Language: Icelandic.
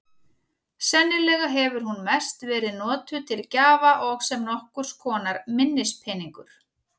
Sennilega hefur hún mest verið notuð til gjafa og sem nokkurs konar minnispeningur.